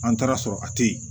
An taara sɔrɔ a teyi